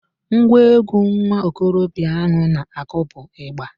Ngwa egwu nwa okorobịa ahụ na-akụ bụ ịgba